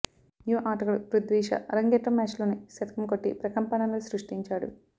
యువ ఆటగాడు పృథ్వీషా అరంగేట్రం మ్యాచ్లోనే శతకం కొట్టి ప్రకంపనలు సృష్టించాడు